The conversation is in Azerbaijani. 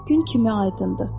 Gün kimi aydındır.